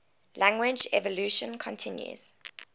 language evolution continues